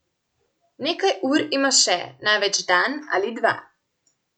Nekaj ur ima še, največ dan ali dva.